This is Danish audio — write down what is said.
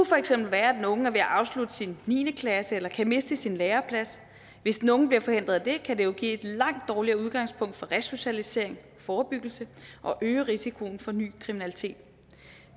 for eksempel være at den unge er ved at afslutte sin niende klasse eller kan miste sin læreplads hvis nogen bliver forhindret i det kan det jo give et langt dårligere udgangspunkt for resocialisering og forebyggelse og øge risikoen for ny kriminalitet